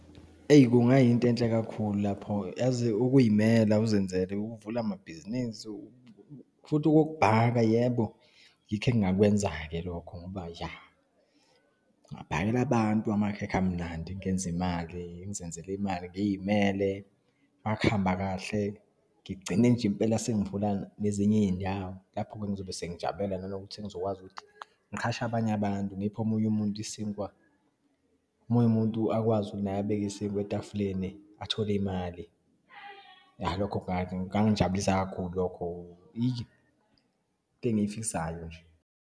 Eyi, kungayinto enhle kakhulu lapho. Yazi ukuyimela, uzenzele, uvule amabhizinisi futhi okokubhaka, yebo yikho engingakwenza-ke lokho ngoba, iya ngabhakela abantu amakhekhe amnandi, ngenze imali, ngizenzele imali, ngiyimele. Uma kuhamba kahle, ngigcine nje impela sengivula nezinye iyindawo, lapho-ke ngizobe sengijabulela nanokuthi sengizokwazi ukuthi ngiqhashe abanye abantu, ngiphe omunye umuntu isinkwa, omunye umuntu akwazi naye abeke isinkwa etafuleni, athole imali. Iya, lokho kungangijabulisa kakhulu lokho. Eyi, into engiyifisayo nje.